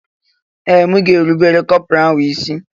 Ee! M ga-erubere kọpọraalụ isí.